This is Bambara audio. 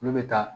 Olu bɛ taa